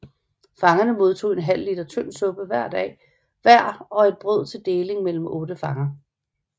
Fangerne modtog en halv liter tynd suppe hver og et brød til deling mellem otte fanger